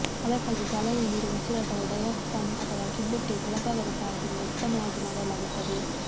ಅದಕ್ಕಾಗಿಯೇ ಚಾಲನೆಯಲ್ಲಿರುವ ಉಸಿರಾಟವು ಡಯಾಫ್ರಮ್ ಅಥವಾ ಕಿಬ್ಬೊಟ್ಟೆಯ ಕೆಳಭಾಗದ ಸಹಾಯದಿಂದ ಉತ್ತಮವಾಗಿ ಮಾಡಲಾಗುತ್ತದೆ